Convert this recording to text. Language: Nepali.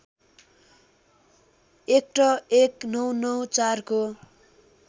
ऐक्ट १९९४ को